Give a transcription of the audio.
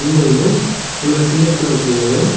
இதுல வந்து நம்ம சின்டெக்ஸ் எல்லா வச்சிருக்காவ.